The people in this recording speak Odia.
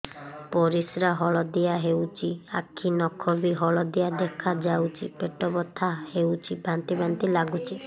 ପରିସ୍ରା ହଳଦିଆ ହେଉଛି ଆଖି ନଖ ବି ହଳଦିଆ ଦେଖାଯାଉଛି ପେଟ ବଥା ହେଉଛି ବାନ୍ତି ବାନ୍ତି ଲାଗୁଛି